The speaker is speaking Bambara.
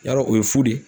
Yarɔ o ye fu de ye